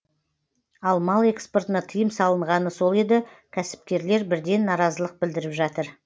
ал мал экспортына тыйым салынғаны сол еді кәсіпкерлер бірден наразылық білдіріп жатыр